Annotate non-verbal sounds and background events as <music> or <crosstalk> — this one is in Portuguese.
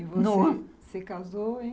<unintelligible> casou <unintelligible>